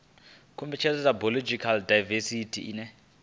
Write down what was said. khuvhangano ya biological daivesithi ine